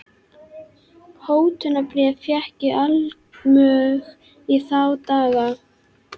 Hótunarbréf fékk ég allmörg í þá daga.